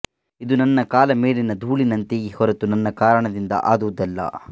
ಇದು ನನ್ನ ಕಾಲ ಮೇಲಿನ ಧೂಳಿನಂತೆಯೇ ಹೊರತು ನನ್ನ ಕಾರಣದಿಂದ ಆದುದಲ್ಲ